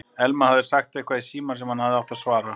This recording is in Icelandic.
Elma hafði sagt eitthvað í símann sem hann hafði átt að svara.